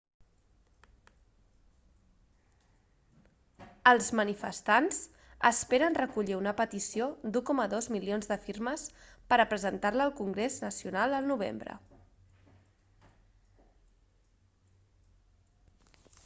els manifestants esperen recollir una petició d'1,2 milions de firmes per presentar-la al congrés nacional el novembre